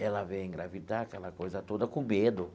Ela veio engravidar, aquela coisa toda, com medo.